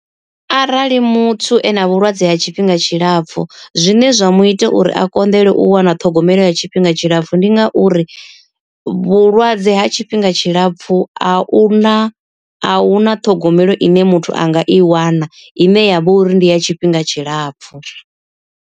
Arali muthu ena vhulwadze ha tshifhinga tshilapfu zwine zwa mu ita uri a konḓelwe u wana ṱhogomelo ya tshifhinga tshilapfu ndi ngauri. Vhulwadze ha tshifhinga tshilapfu a u na ahuna ṱhogomelo ine muthu anga i wana ine ya vha uri ndi ya tshifhinga tshilapfu.